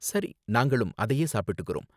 சரி, நாங்களும் அதையே சாப்பிட்டுக்கறோம்.